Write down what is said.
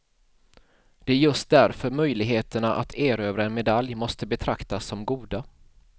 Det är just därför möjligheterna att erövra en medalj måste betraktas som goda.